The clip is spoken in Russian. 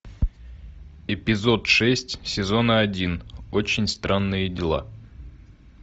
эпизод шесть сезона один очень странные дела